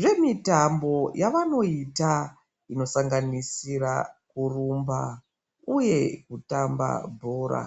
zvemitambo yavanoita inosanganisira kurumba uye kutamba bhora.